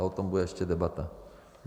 A o tom bude ještě debata.